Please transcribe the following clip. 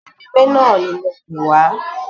Pẹ̀rẹ́mẹ̀ náà ni mo pè wá